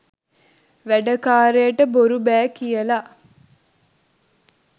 වැඩකාරයාට බොරු බෑ කියලා